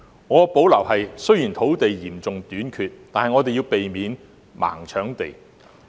我有所保留的是，雖然土地嚴重短缺，但我們要避免"盲搶地"。